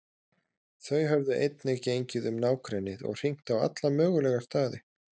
Þau höfðu einnig gengið um nágrennið og hringt á alla mögulega staði.